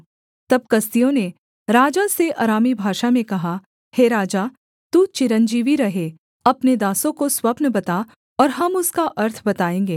तब कसदियों ने राजा से अरामी भाषा में कहा हे राजा तू चिरंजीवी रहे अपने दासों को स्वप्न बता और हम उसका अर्थ बताएँगे